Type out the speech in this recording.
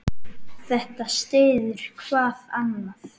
Þetta styður hvað annað.